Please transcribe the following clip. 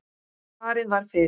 Farið var fyrir